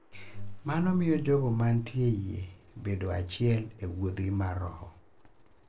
Mano miyo jogo mantie e yie bedo achiel e wuodhgi mar roho.